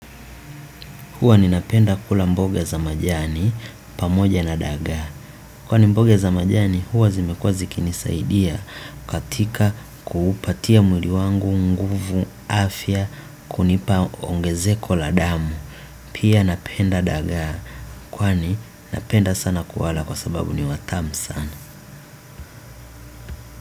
Huwa ninapenda kula mboga za majani pamoja na dagaa. Kwani mboga za majani huwa zimekuwa zikini saidia katika kuupatia mwili wangu nguvu afya kunipa ongezeko la damu. Pia napenda dagaa kwani napenda sana kuwala kwa sababu ni watamu sana.